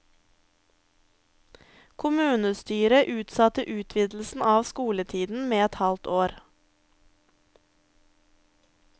Kommunestyret utsatte utvidelsen av skoletiden med et halvt år.